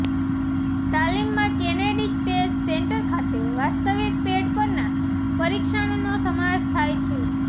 તાલીમમાં Kennedy Space Centre ખાતે વાસ્તવિક પેડ પરના પરીક્ષણનો સમાવેશ થાય છે